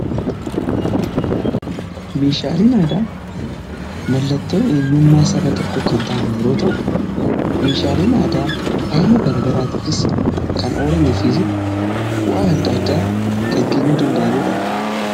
Meeshaaleen aadaa mallattoo eenyummaa saba tokko kan ta'an yeroo ta'u meeshaaleen aadaa faaya garagaraatiifis kan oolanii fi bu'aa adda addaa kan kennuu danda'aniidha.